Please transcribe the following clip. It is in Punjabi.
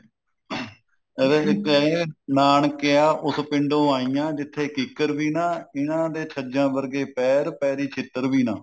ਐਵੇਂ ਕਹਿੰਦੇ ਨਾਨਕਿਆ ਉਸ ਪਿੰਡੋਂ ਆਈਆ ਜਿੱਥੇ ਕਿਕਰ ਵੀ ਨਾ ਇਹਨਾਂ ਦੇ ਛੱਜਾਂ ਵਰਗੇ ਪੈਰ ਪੈਰੀ ਛਿੱਤਰ ਵੀ ਨਾ